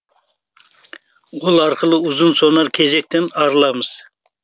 ол арқылы ұзын сонар кезектен арыламыз